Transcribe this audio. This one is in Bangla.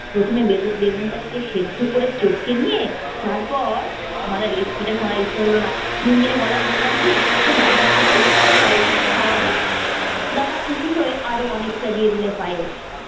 প্রথমে বেগু~ বেগুন টাকে সেদ্ধ করে চটকে নিয়ে তারপর। আমার আর recipe টা শোনার ইচ্ছে হলোনা, মিনমিনে গলায় বললাম কি এটা বাড়ি নিয়ে যায়, সবাইকে একটু খাওয়াবো। দাদা খুশি হয়ে আরও অনেকটা দিয়ে দিলেন পায়েস।